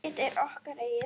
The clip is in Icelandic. Ekkert er okkar eigið.